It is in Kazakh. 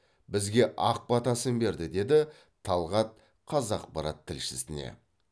бізге ақ батасын берді деді талғат қазақпарат тілшісіне